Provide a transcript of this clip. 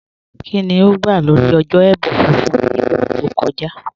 Kíni ó gbà lórí ọ̀jọ́ ẹ̀bùn fífún ní ìgbà tó kọ̀jà?